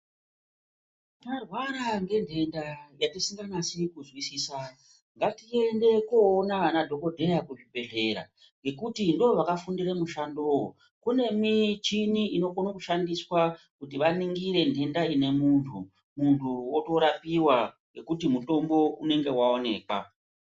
Tarwara ngentenda yatisinganasi kunzwisisa ngatiende koona anadhokodheya kuzvibhedhlera ngekuti ndovakafundire mushandowo. Kune michini inokona kushandiswa kuti vaningire ntenda inemuntu, muntu otorapiwa ngekuti mutombo unenge waonekwa.